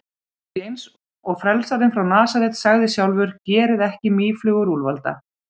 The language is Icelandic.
Því, eins og frelsarinn frá Nasaret sagði sjálfur: Gerið ekki mýflugu úr úlfalda.